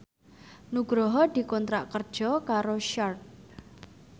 Nugroho dikontrak kerja karo Sharp